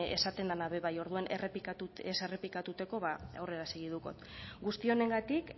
esaten dena be bai orduan ez errepikatuteko ba aurrera segidukot guzti honengatik